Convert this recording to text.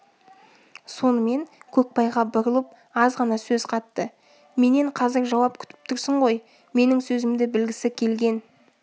сонымен көкбайға бұрылып азғана сөз қатты менен қазір жауап күтіп тұрсың ғой менің сөзімді білгісі келген